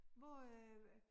Hvor øh